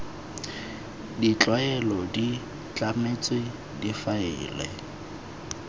tsa tlwaelo di tlametswe difaele